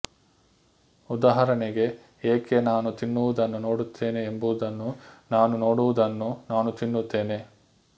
ಉದಾಹರಣೆಗೆ ಏಕೆ ನಾನು ತಿನ್ನುವುದನ್ನು ನೋಡುತ್ತೇನೆ ಎಂಬುದನ್ನು ನಾನು ನೋಡುವುದನ್ನು ನಾನು ತಿನ್ನುತ್ತೇನೆ